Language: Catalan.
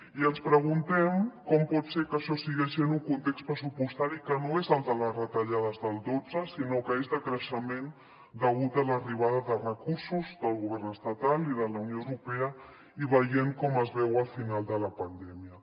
i ens preguntem com pot ser que això sigui així en un context pressupostari que no és el de les retallades del dotze sinó que és de creixement degut a l’arribada de recursos del govern estatal i de la unió europea i veient com es veu el final de la pandèmia